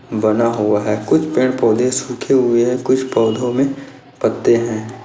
बना हुआ है कुछ पेड़ पौधे सूखे हुए है कुछ पौधो मे पत्ते है।